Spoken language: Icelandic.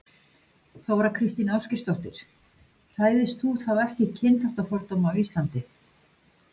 Þóra Kristín Ásgeirsdóttir: Hræðist þú þá ekki kynþáttafordóma á Íslandi?